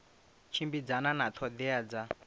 tshimbidzana na ṱho ḓea dza